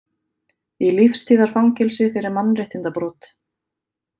Í lífstíðarfangelsi fyrir mannréttindabrot